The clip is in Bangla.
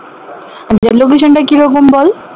আচ্ছা location টা কিরকম বল